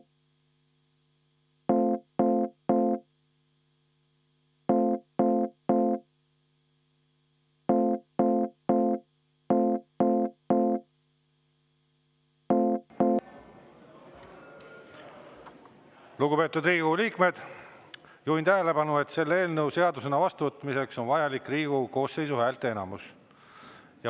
Lugupeetud Riigikogu liikmed, juhin tähelepanu, et selle eelnõu seadusena vastuvõtmiseks on vajalik Riigikogu koosseisu häälteenamus.